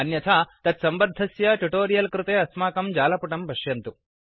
अन्यथा तत्सम्बद्धस्य ट्युटोरियल् कृते अस्माकं जालपुटं पश्यन्तु